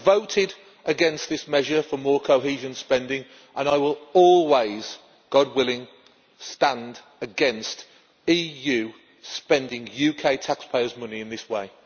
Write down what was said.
I voted against this measure for more cohesion spending, and I will always God willing stand against the EU spending UK taxpayers' money in this way.